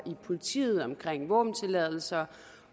politiet omkring våbentilladelser